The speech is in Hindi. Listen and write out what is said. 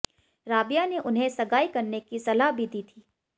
राबिया ने उन्हें सगाई करने की सलाह भी दी थी